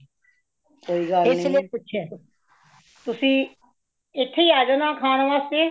ਕੋਈ ਗੱਲ ਨਹੀਂ ਤੁਸੀਂ ਇਥੇ ਆ ਜਾਨਾ ਖਾਨ ਵਾਸਤੇ